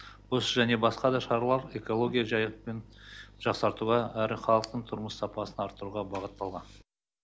осы және басқа да шаралар экология жайын жақсартуға әрі халықтың тұрмыс сапасын арттыруға бағытталған